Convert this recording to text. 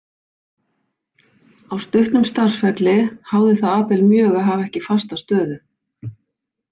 Á stuttum starfsferli háði það Abel mjög að hafa ekki fasta stöðu.